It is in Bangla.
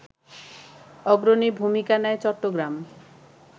অগ্রণী ভূমিকা নেয় চট্টগ্রাম